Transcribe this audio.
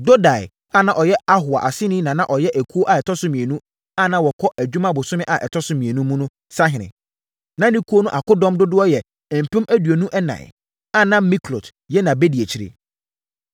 Dodai a na ɔyɛ Ahoa aseni na na ɔyɛ ekuo a ɛtɔ so mmienu a na wɔkɔ adwuma bosome a ɛtɔ so mmienu mu no so sahene. Na ne ekuo no akodɔm dodoɔ yɛ mpem aduonu ɛnan (24,000), a na Miklot yɛ nʼabadiakyire.